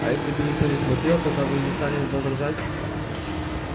а если бы никто не смотрел тогда бы вы не стали возражать